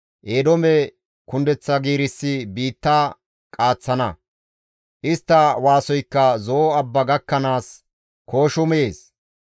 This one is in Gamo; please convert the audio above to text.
Eedoome kundeththa giirissi biitta qaaththana; istta waasoykka Zo7o abba gakkanaas kooshumees.